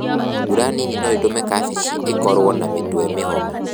Mbura nini noĩtũme kabeci ĩkorwo na mĩtwe mĩhomu.